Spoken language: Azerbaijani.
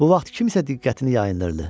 Bu vaxt kimsə diqqətini yayındırdı.